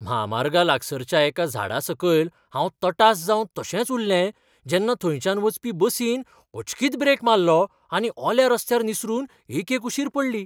म्हामार्गा लागसारच्या एका झाडा सकयल हांव तटास जावन तशेंच उरलें जेन्ना थंयच्यान वचपी बसीन अचकीत ब्रेक मारलो आनी ओल्या रस्त्यार निसरून एके कुशीर पडली.